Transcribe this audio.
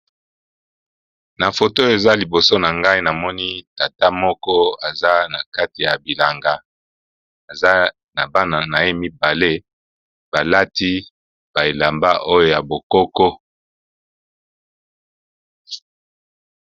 Na foto eza liboso na ngai namoni tata moko eza na kati ya bilanga eza na bana na ye mibale balati bilamba oyo ya bokoko.